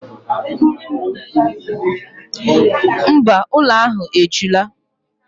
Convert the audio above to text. Mba, ụlọ ahụ ejula.